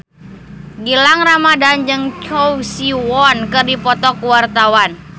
Gilang Ramadan jeung Choi Siwon keur dipoto ku wartawan